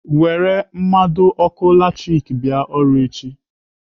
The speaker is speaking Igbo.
Were mmado ọkụ latrik bịa ọrụ echi.